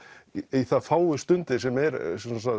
í þær fáu stundir sem er